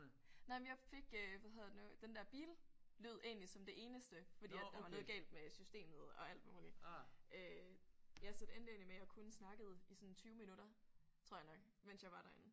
Nej men jeg fik øh hvad hedder det nu den der billyd egentlig som det eneste fordi at der var noget galt med systemet og alt muligt øh ja så det endte egentlig med at jeg kun snakkede i sådan 20 minutter tror jeg nok mens jeg var derinde